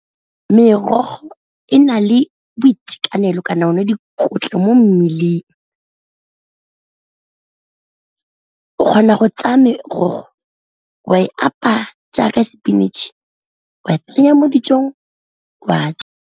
Merogo e na le boitekanelo kana o ne dikotla mo mmeleng, o kgona go tsaya merogo wa e apaya jaaka spinach wa tsenya mo dijong wa ja.